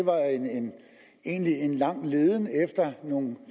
var en lang leden efter nogle